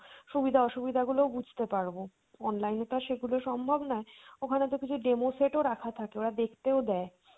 সুবিধা অসুবিধা গুলোও বুঝতে পারবো। online এ তো আর সেগুলো সম্ভব নয়, ওখানে তো কিছু demo set ও রাখা থাকে ওরা দেখতেও দেয়,